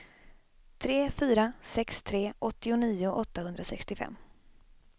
tre fyra sex tre åttionio åttahundrasextiofem